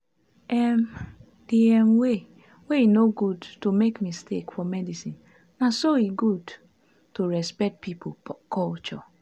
um the um way wey e no good to make mistake for medicinena so e good to respect pipo culture.